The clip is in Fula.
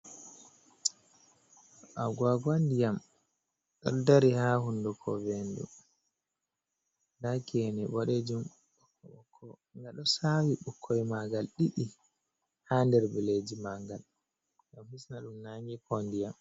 Agaugau ndiyam ɗon dari ha hunduko vendu da gene boɗejum ga ɗo sa'wi bukkoi magal ɗiɗi ha nder billeji magal, gam hisna ɗum nange ko ndiyam.